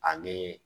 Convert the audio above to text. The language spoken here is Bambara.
Ani